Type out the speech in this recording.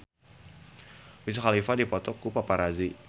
Wiz Khalifa dipoto ku paparazi